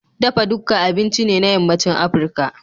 Dafa dukka abinci ne na Yammacin Afirka.